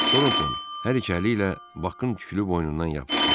Toronton hər iki əli ilə Bakın tüklü boynundan yapışdı.